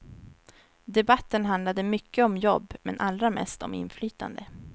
Debatten handlade mycket om jobb, men allra mest om inflytande.